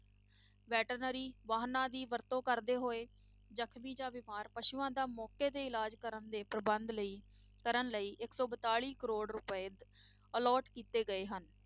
Veterinary ਵਾਹਨਾਂ ਦੀ ਵਰਤੋਂ ਕਰਦੇ ਹੋਏ ਜਖ਼ਮੀ ਜਾਂ ਬਿਮਾਰ ਪਸੂਆਂ ਦਾ ਮੌਕੇ ਤੇ ਇਲਾਜ਼ ਕਰਨ ਦੇ ਪ੍ਰਬੰਧ ਲਈ ਕਰਨ ਲਈ ਇੱਕ ਸੌ ਬਤਾਲੀ ਕਰੌੜ ਰੁਪਏ allot ਕੀਤੇ ਗਏ ਹਨ।